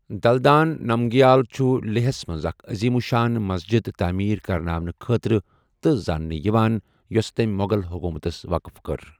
دلدان نمگیال چھُ لیہہ ہَس منٛز اکھ عظیم الشان مسجد تعمیٖر كرناونہٕ خٲطرٕ تہٕ زاننہٕ یِوان، یوٚسہٕ تٔمہِ مو٘غل حکومتس وقف کٔر ۔